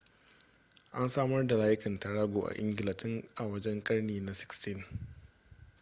an samar da layukan tarago a ingila tun a wajejen ƙarni na 16